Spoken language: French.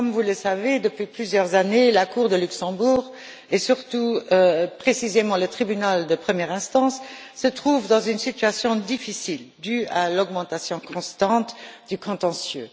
Comme vous le savez, depuis plusieurs années, la Cour de justice à Luxembourg et surtout, précisément, le Tribunal de première instance se trouvent dans une situation difficile due à l'augmentation constante du contentieux.